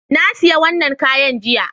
Na sayi wannan kayan jiya